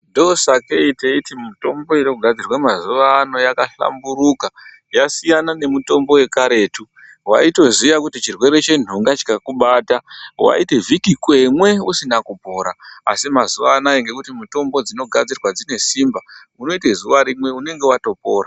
Ndosakei teiti mutombo inogadziswa mazuwa ano yakahlamburuka yasiyana nemitombo yekaretu waitoziya kuti chirwere chendunga chikakubata waiti vhiki kweme usina kupona asi mazuwa anaya ngekuti mutombo dzinogadzirwa dzine simba unoita zuwa rimwe unenge watopona.